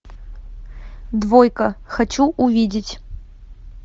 двойка хочу увидеть